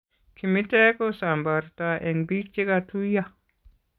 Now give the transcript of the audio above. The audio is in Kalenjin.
Kimiteek kosambartoo eng' biik chekatuiyo